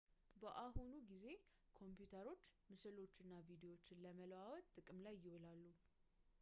በአሁኑ ጊዜ ኮምፒተሮች ምስሎችን እና ቪዲዎችን ለመለዋወጥ ጥቅም ላይ ይውላሉ